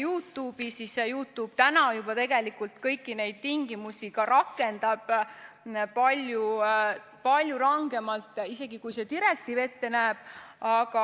YouTube vastab juba täna tegelikult kõikidele nendele tingimustele, ta rakendab isegi palju rangemaid nõudeid, kui see direktiiv ette näeb.